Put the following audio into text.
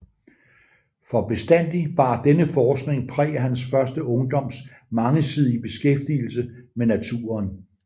For bestandig bar denne forskning præg af hans første ungdoms mangesidige beskæftigelse med naturen